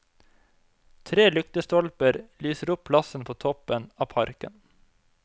Tre lyktestolper lyser opp plassen på toppen av parken.